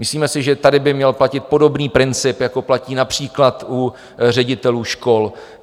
Myslíme si, že tady by měl platit podobný princip, jako platí například u ředitelů škol.